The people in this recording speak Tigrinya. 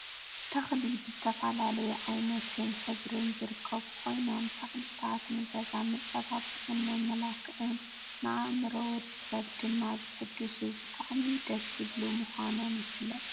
ተክሊ ብዝተፈላለዩ ዓይነትን ሕብርን ዝርከቡ ኮይኖም ተክልታት ንገዛ መፀባበቅን መመልክዕን ንአእምሮ ወዲ ሰብ ድማ ዝሕድሱ ብጣዕሚ ደስ ዝብሉ ምኳኖም ይፍለጥ።